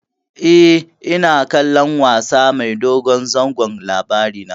E, ina kallon wasa mai dogon zango Labarina.